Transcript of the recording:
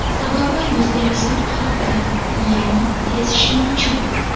Sababi yuz terisi yupqaroq bo‘ladi ya’ni tez shimuvchi.